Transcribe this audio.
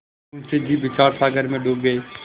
मुंशी जी विचारसागर में डूब गये